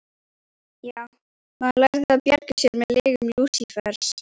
Já, maður lærði að bjarga sér með lygum Lúsífers.